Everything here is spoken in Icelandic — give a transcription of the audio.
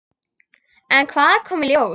En hvað kom í ljós?